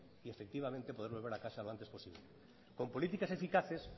y efectivamente poder volver a casa lo antes posible con políticas eficaces